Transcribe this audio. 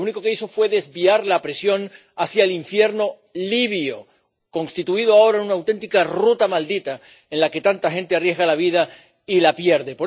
Lo único que hizo fue desviar la presión hacia el infierno libio, constituido ahora en una auténtica ruta maldita en la que tanta gente arriesga la vida y la pierde.